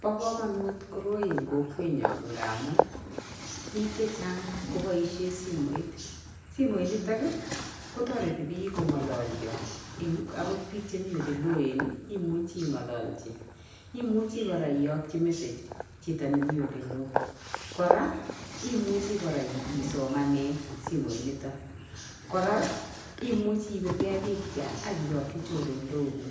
Bo kamanut koroi eng kokwenyo ngamun piik che chang koboisie simoit, simoinitok ii ko toreti piik ko ngololyo akot biik chemi oleloen ii imuchi ingololchi, imuchi kora iyokyi message ii chito ne mi ole loo, kora imuchi kora isomanee simoinito, kora imuchi ipirkei pikcha ak iyokyi chorondoguk